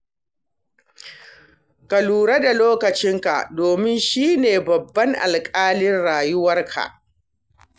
Ka lura da lokacinka domin shi ne babban alƙalin rayuwarka.